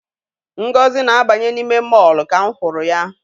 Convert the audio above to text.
Ngozi na-abanye n'ime mọọlụ ka m hụrụ ya.